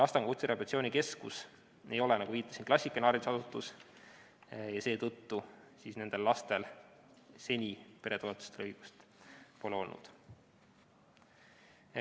Astangu Kutserehabilitatsiooni Keskus ei ole, nagu viitasin, klassikaline haridusasutus, seetõttu nendel lastel seni peretoetustele õigust pole olnud.